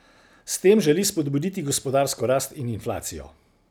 S tem želi spodbuditi gospodarsko rast in inflacijo.